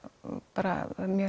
bara mjög